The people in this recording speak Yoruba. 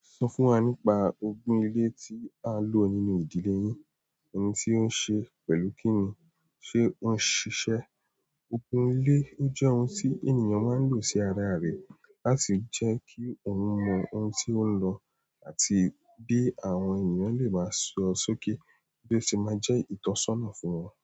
Sọ fún wa nípa ogun ilé tí a ń lò nínú ìdílé yín, ẹni tí ó ń ṣe, pẹ̀lú kí ni, ṣe ó ń ṣiṣẹ́? Ogún ilé jẹ́ ohun tí ènìyàn máa ń lò sí ara rẹ̀ láti jẹ́ kí òun mọ ohun tí ó ń lọ àti bí àwọn ènìyàn le máa sọ sókè bí ó ṣe máa jẹ́ ìtọ́sọ́nà fún wọn.